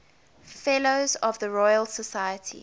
fellows of the royal society